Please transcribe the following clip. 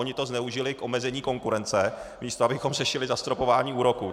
Oni to zneužili k omezení konkurence, místo abychom řešili zastropování úroků.